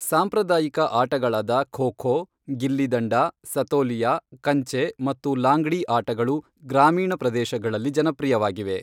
ಸಾಂಪ್ರದಾಯಿಕ ಆಟಗಳಾದ ಖೋ ಖೋ, ಗಿಲ್ಲಿ ದಂಡ, ಸತೋಲಿಯಾ, ಕಂಚೆ ಮತ್ತು ಲಾಂಗ್ಡಿ ಆಟಗಳು ಗ್ರಾಮೀಣ ಪ್ರದೇಶಗಳಲ್ಲಿ ಜನಪ್ರಿಯವಾಗಿವೆ.